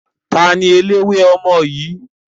Taàní eléwé ọmọ yìí?